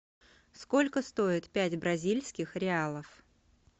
сколько стоит пять бразильских реалов